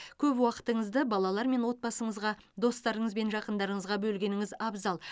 көп уақытыңызды балалар мен отбасыңызға достарыңыз бен жақындарыңызға бөлгеніңіз абзал